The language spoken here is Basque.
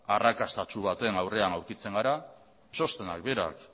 arrakastatsu baten aurren aurkitzen gara txostenak berak